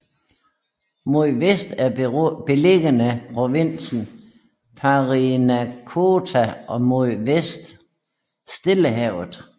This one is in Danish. Mod vest er beliggende provinsen Parinacota og mod vest Stillehavet